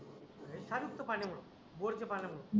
सादुकच पाण्यामुळ बोरच्या पाण्यामुळं